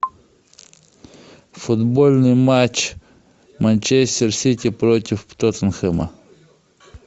футбольный матч манчестер сити против тоттенхэма